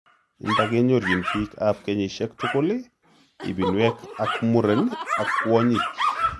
Mpa kenyorchin biik ab kenyisiek tugul, ibinwek ak muren ak kwonyik